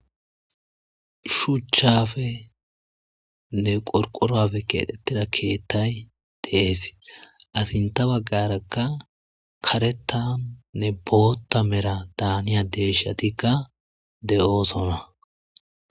shuuchchafe nne qorqorafe keedhettida keettay dees asinta baggarakka karetannne bootta mera daaniya deeshatika de7oosona